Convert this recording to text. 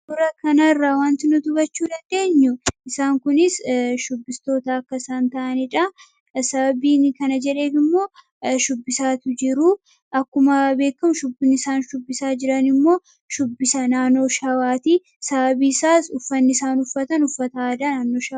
Suuraa kana irraa wanti nuti hubachuu dandeenyu, isaan kun shubbistoota akka ta'aniidha. Sababiin kana jedheef immoo, shubbisatti waan jiraniifidha. Akkuma beekamu, shubbisni isaan shubbisaa jiran kun shubbisa naannoo Shawaati. Sababni isaas, uffanni isaan uffatan uffata aadaa naannoo Shawaa waan ta'eef.